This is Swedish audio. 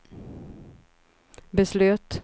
beslöt